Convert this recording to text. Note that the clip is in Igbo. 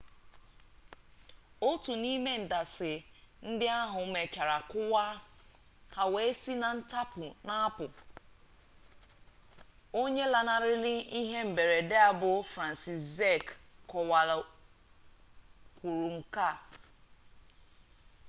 otu n'ime ndasị ndị ahụ mechara kụwaa ha wee si na ntapu na-apụ onye lanarịrị ihe mberede bụ franciszek kowal kwuru nke a